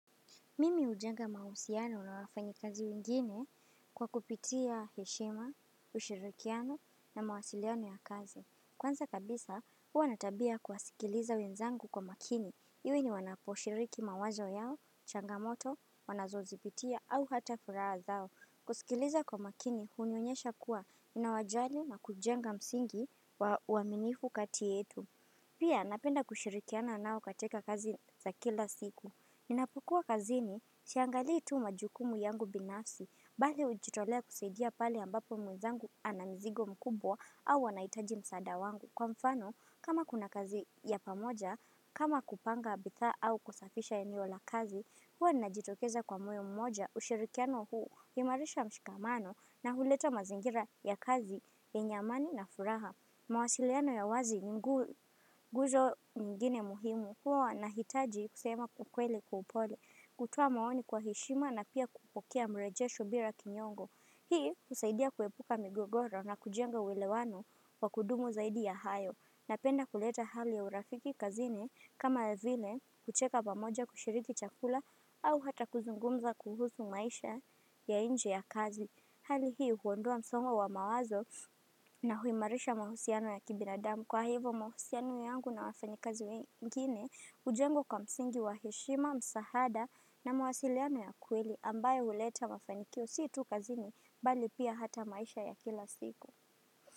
Mimi hujenga mahusiano na wafanyikazi wengine kwa kupitia heshima, ushirikiano na mawasiliano ya kazi. Kwanza kabisa, huwa natabia ya kuwasikiliza wenzangu kwa makini. Iwe ni wanaposhiriki mawazo yao, changamoto, wanazozipitia ata furaha zao. Kusikiliza kwa makini, hunionyesha kuwa ninawajali na kujenga msingi wa uaminifu kati yetu. Pia, napenda kushirikiana nao katika kazi za kila siku. Ninapukuwa kazini, siangalii tu majukumu yangu binafsi, bali ujitolea kusaidia pale ambapo mwenzangu ana mzigo mkubwa au wanahitaji msaada wangu. Kwa mfano, kama kuna kazi ya pamoja, kama kupanga bidhaa au kusafisha eneo la kazi, huwa najitokeza kwa moyo mmoja ushirikiano huu, huimarisha mshikamano na huleta mazingira ya kazi yenye amani na furaha. Mawasiliano ya wazi ni nguzo nyingine muhimu kuwa nahitaji kusema kukweli kwa upole kutuoa maoni kwa heshima na pia kupokea mrejesho bila kinyongo Hii usaidia kuepuka migogoro na kujenga ulewano wa kudumu zaidi ya hayo Napenda kuleta hali ya urafiki kazini kama vile kucheka pamoja kushiriki chakula au hata kuzungumza kuhusu maisha ya inje ya kazi Hali hii huondoa msongo wa mawazo na huimarisha mahusiano ya kibinadamu. Kwa hivo mahusiano yangu na wafanikazi wengine ujengwa kwa msingi wa heshima, msahada na mawasiliano ya kweli ambaye uleta mafanikio si tu kazini bali pia hata maisha ya kila siku.